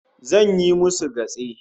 Zan yi musu gatse